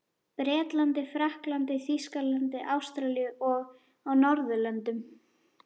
Bretlandi, Frakklandi, Þýskalandi, Ástralíu og á Norðurlöndum.